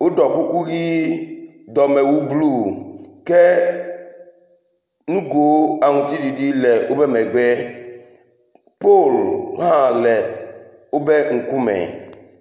Woɖɔ kuku ʋi. dɔmewu bl uke nugo aŋtiɖiɖi le wobe megbe. Pol hã le wobe ŋkume.